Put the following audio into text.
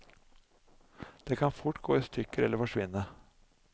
De kan fort gå i stykker eller forsvinne.